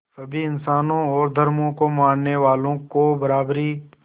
सभी इंसानों और धर्मों को मानने वालों को बराबरी